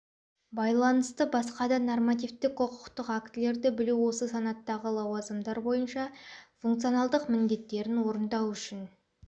байланысты басқа да нормативтік құқықтық актілерді білу осы санаттағы лауазымдар бойынша функционалдық міндеттерін орындау үшін